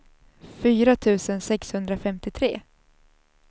fyra tusen sexhundrafemtiotre